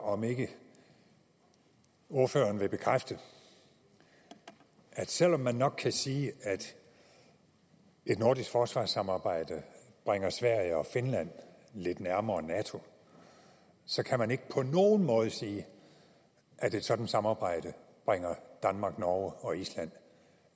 om ikke ordføreren vil bekræfte at selv om man nok kan sige at et nordisk forsvarssamarbejde bringer sverige og finland lidt nærmere nato så kan man ikke på nogen måde sige at et sådant samarbejde bringer danmark norge og island